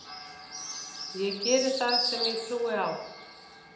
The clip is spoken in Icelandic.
Ég geri það sem ég trúi á.